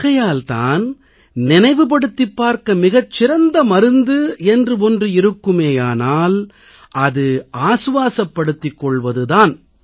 ஆகையால் தான் நினைவுபடுத்திப் பார்க்க மிகச் சிறந்த மருந்து என்று ஒன்று இருக்குமேயானால் அது ஆசுவாசப்படுத்திக் கொள்வது தான்